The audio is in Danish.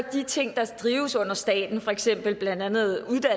de ting der drives under staten blandt andet